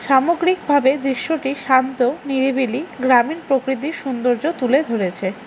সামগ্রিকভাবে দৃশ্যটি শান্ত নিরিবিলি গ্রামীণ প্রকৃতির সুন্দর্য তুলে ধরেছে।